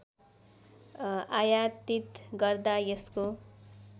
आयातीत गर्दा यसको